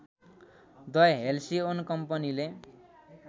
the Halcyon कम्पनीले